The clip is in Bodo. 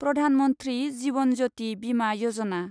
प्रधान मन्थ्रि जीवन ज्यति बिमा यजना